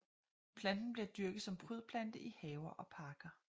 Planten bliver dyrket som prydplante i haver og parker